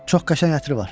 Çox qəşəng ətri var.